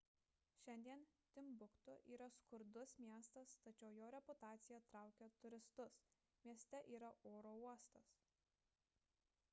šiandien timbuktu yra skurdus miestas tačiau jo reputacija traukia turistus mieste yra oro uostas